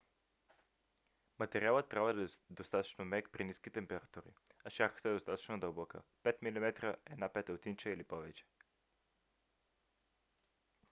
материалът трябва да е достатъчно мек при ниски температури а шарката достатъчно дълбока 5 mm 1/5 инча или повече